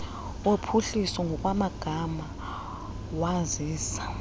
wophuhliso ngokwamagama wazisa